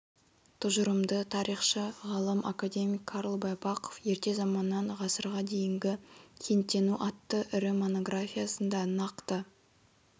тұжырымды тарихшы ғалым академик карл байпақов ерте заманнан ғасырға дейінгі кенттену атты ірі монографиясында нақты